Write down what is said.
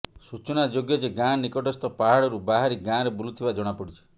ସୂଚନାଯୋଗ୍ୟ ଯେ ଗାଁ ନିକଟସ୍ଥ ପାହାଡରୁ ବାହାରି ଗାଁରେ ବୁଲୁଥିବା ଜଣାପଡିଛି